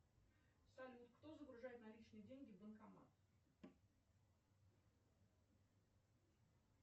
салют кто загружает наличные деньги в банкомат